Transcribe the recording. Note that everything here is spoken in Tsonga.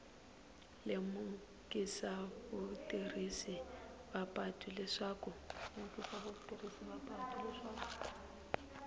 lemukisa vatirhisi va patu leswaku